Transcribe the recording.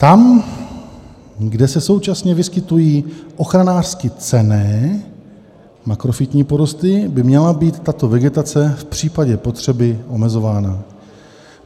Tam, kde se současně vyskytují ochranářsky cenné makrofytní porosty, by měla být tato vegetace v případě potřeby omezována.